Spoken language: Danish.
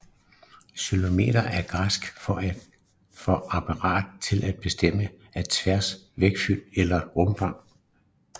Xylometer er græsk for et apparat til bestemmelse af træs vægtfylde eller rumfang